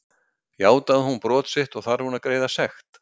Játaði hún brot sitt og þarf hún að greiða sekt.